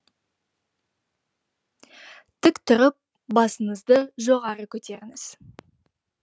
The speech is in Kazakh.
тік тұрып басыңызды жоғары көтеріңіз